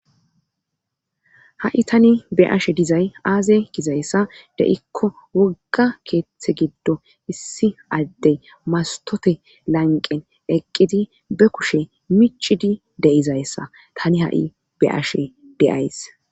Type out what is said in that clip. ha7i tani be ashe dizay aaze gizayssa de7ikko wogga keeththe giddo issi addey mastote lanqen eqqidi be kushe micidi deizayssa tani ha7i be ashe deyays